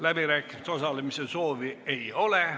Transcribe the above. Läbirääkimistes osalemise soovi ei ole.